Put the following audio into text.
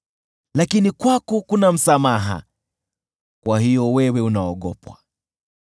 Lakini kwako kuna msamaha, kwa hiyo wewe unaogopwa.